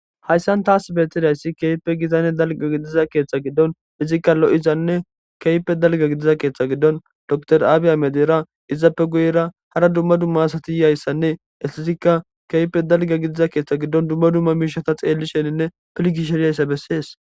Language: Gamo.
Haysan taasi betidays keehippe gitanne dalga gidida keetha gidon izika lo'izanne keehippe dalga gidiza keetha gidon dokiter abiy ahimedera izappeka guyera hara dumma dumma asati diyaysanne hestika keehippe dalga gidiza keetha gidon dumma dumma mishata xeelishenne pilgishe dizaysa beses